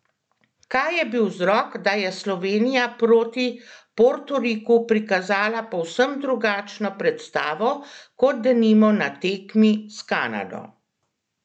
Kaj je bil vzrok, da je Slovenija proti Portoriku prikazala povsem drugačno predstavo kot denimo na tekmi s Kanado?